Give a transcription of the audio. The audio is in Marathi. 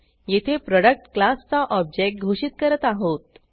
येथे प्रोडक्ट क्लासचा ऑब्जेक्ट घोषित करत आहोत